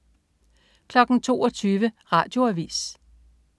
22.00 Radioavis